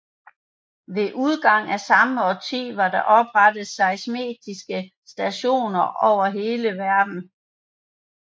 Ved udgangen af samme årti var der oprettet seismiske stationer over hele verden